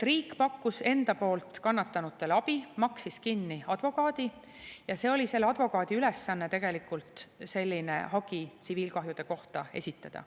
Riik pakkus enda poolt kannatanutele abi, maksis kinni advokaadi ja selle advokaadi ülesanne oli selline hagi tsiviilkahjude kohta esitada.